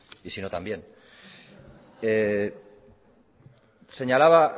y sino también señalaba